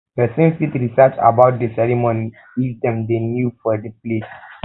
person fit research about di di ceremony if dem dey um new for di place